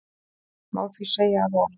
Má því segja að orð